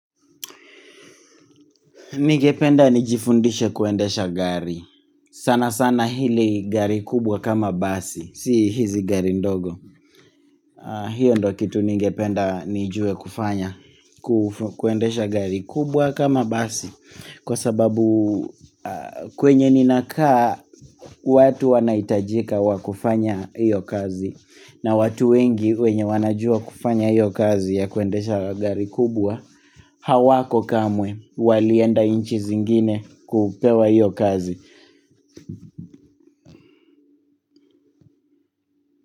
Ningependa nijifundishe kuendesha gari. Sana sana hili gari kubwa kama basi. Si hizi gari ndogo. Hiyo ndo kitu ningependa nijue kufanya. Kuendesha gari kubwa kama basi. Kwa sababu kwenye ninakaa watu wanahitajika wakufanya hiyo kazi. Na watu wengi wenye wanajua kufanya hiyo kazi ya kuendesha gari kubwa hawako kamwe walienda inchi zingine kupewa hiyo kazi.